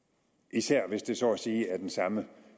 især hvis det så at sige er den samme